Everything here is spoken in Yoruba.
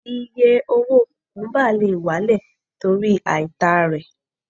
Iye owó kùkúbà lè wálẹ̀ torí àìtà rẹ̀.